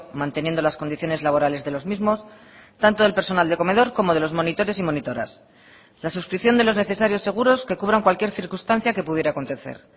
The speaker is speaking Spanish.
manteniendo las condiciones laborales de los mismos tanto del personal de comedor como de los monitores y monitoras la suscripción de los necesarios seguros que cubran cualquier circunstancia que pudiera acontecer